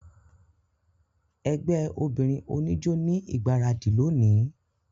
Ẹgbẹ obinrin onijó ni igbaradi loni.